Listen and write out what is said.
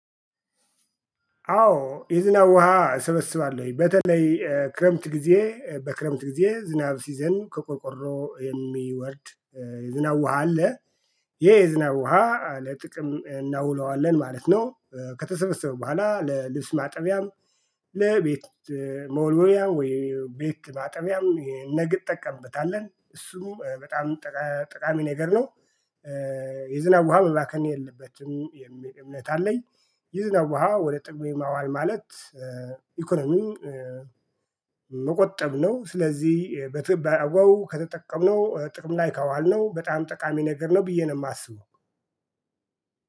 አዎ የዝናብ ውሃ እሰበስባለሁኝ በተለይ ክረምት ጊዜ በክረምት ጊዜ ዝናብ ሲዘንብ ከቆርቆሮ የሚወርድ የዝናብ ውሃ አለ ይሄ የዝናብ ውሃ ለጥቅም እናውለዋለን ማለት ነው። ከተሰበሰበ በኋላ ለልብስ ማጠቢያም ለቤት መወልወልያ ወይ ቤት ማጠቢያም ነግ እጠቀምበታለን እሱም በጣም ጠቃሚ ነገር ነው። የዝናብ ውሃ መባከን የለበትም የሚለ እምነት አለኝ። የዝናብ ውሃ ወደ ጥም የማዋል ማለት ኢኮኖሚም መቆጠብ ነው። ስለዚህ በትህ በአግባቡ ከተጠቀምነው ጥቅም ላይ ከዋልነው በጣም ጠቃሚ ነገርነው ብዬ ነው ማስበው።